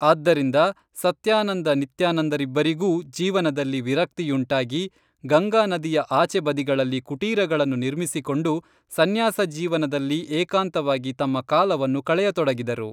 ಆದ್ದರಿಂದ ಸತ್ಯಾನಂದ ನಿತ್ಯಾನಂದರಿಬ್ಬರಿಗೂ ಜೀವನದಲ್ಲಿ ವಿರಕ್ತಿಯುಂಟಾಗಿ ಗಂಗಾ ನದಿಯ ಆಚೆ ಬದಿಗಳಲ್ಲಿ ಕುಟೀರಗಳನ್ನು ನಿರ್ಮಿಸಿಕೊಂಡು ಸನ್ಯಾಸಜೀವನದಲ್ಲಿ ಏಕಾಂತ ವಾಗಿ ತಮ್ಮ ಕಾಲವನ್ನು ಕಳೆಯತೊಡಗಿದರು